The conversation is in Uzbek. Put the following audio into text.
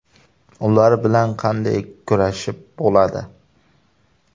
Ular bilan qanday kurashib bo‘ladi?!